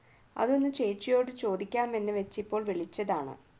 അതൊന്ന് ചേച്ചിയോട് ചോദിക്കാം എന്ന് വെച്ച് ഇപ്പോൾ വിളിച്ചതാണ്